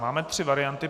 Máme tři varianty.